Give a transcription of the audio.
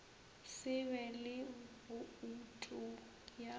se be le boutu ya